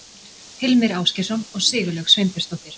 Hilmir Ásgeirsson og Sigurlaug Sveinbjörnsdóttir.